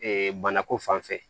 banako fan fɛ